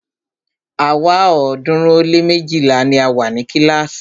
Àwa ọ̀ọ́dúnrún ó lé méjìlá ni a wa ni kílàásì.